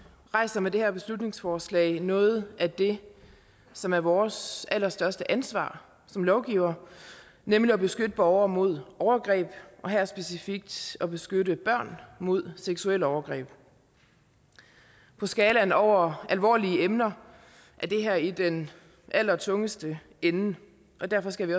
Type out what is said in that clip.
rejser med det her beslutningsforslag noget af det som er vores allerstørste ansvar som lovgivere nemlig at beskytte borgere mod overgreb og her specifikt at beskytte børn mod seksuelle overgreb på skalaen over alvorlige emner er det her i den allertungeste ende og derfor skal vi